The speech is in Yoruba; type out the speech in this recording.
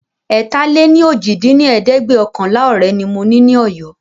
ẹ̀ta-lé-ní-ojì dín ní ẹ̀ẹ́dẹ́gbẹ́ọ̀kànlá ọ̀rẹ́ ni mo ní Ọ̀yọ́